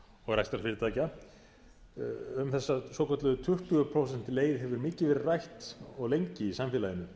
og rekstrarfyrirtækja um þessa svokölluðu tuttugu prósenta leið hefur mikið verið rætt og lengi í samfélaginu